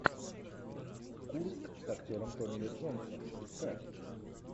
курск с актером томми ли джонсом искать